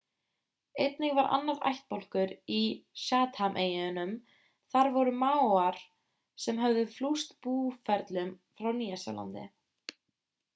einnig var annar ættbálkur á chatham-eyjunum það voru maórar sem höfðu flust búferlum frá nýja-sjálandi